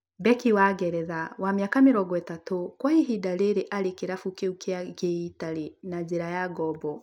Beki wa ngeretha wa mĩaka mĩrongo ĩtatũ kwa ihinda rĩrĩ arĩ kĩrabu kĩu kĩa gĩitari na njĩra ya ngombo